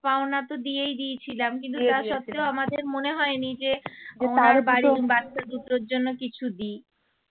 পাওনা তো দিয়েই দিয়েছিলাম কিন্তু তা স্বত্তেও আমাদের মনে হয়নি যে বাচ্চা দুটোর জন্য কিছু দি